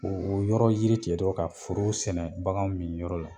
O o yɔrɔ yiri tigɛ dɔrɔn ka foro sɛnɛ baganw mini yɔrɔ la